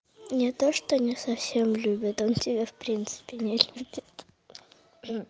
не то что не совсем любит он тебя в принципе не любит